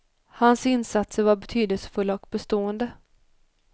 Hans insatser var betydelsefulla och bestående.